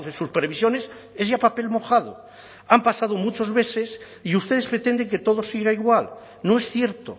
sus previsiones es ya papel mojado han pasado muchos meses y ustedes pretenden que todo siga igual no es cierto